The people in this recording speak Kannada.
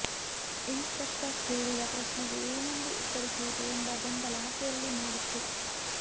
ಇನ್ಸ್ ಪೆಕ್ಟರ್ ಕೇಳಿದ ಪ್ರಶ್ನೆಗೆ ಏನೆಂದು ಉತ್ತರಿಸುವುದು ಎಂಬ ಗೊಂದಲ ಆಕೆಯಲ್ಲಿ ಮೂಡಿತು